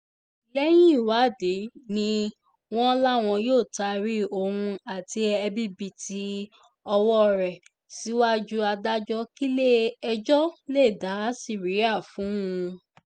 lẹ́yìn ìwádìí ni wọ́n láwọn yóò taari òun àti ẹ̀bibììtì ọwọ́ ẹ̀ síwájú adájọ́ kílẹ̀-ẹjọ́ lè dá síríà fún un